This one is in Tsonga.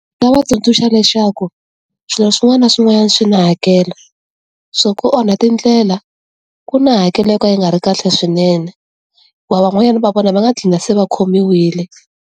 Ni nga va tsundzuxa leswaku, swilo swin'wana na swin'wanyana swi na hakelo. Swa ku onha tindlela, ku na hakelo yo ka yi nga ri kahle swinene. Hikuva van'wanyana va vona va nga dlina se va khomiwile.